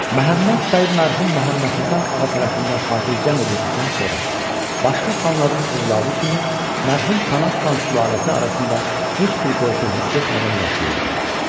Məhəmməd bəy mərhum Məhəmməd Həsən ağa tərəfindən xatircəm edildikdən sonra başqa xanların övladı kimi mərhum Pənah xan sülaləsi arasında heç bir qorxu hiss etmədən yaşayırdı.